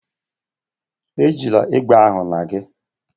Ejila egbe ahụ na gị!